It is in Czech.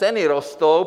Ceny rostou.